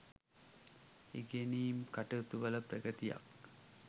ඉගෙනීම් කටයුතු වල ප්‍රගතියක්